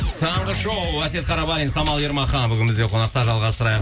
таңғы шоу әсет қарабалин самал ермахан бүгін бізде қонақта жалғастырайық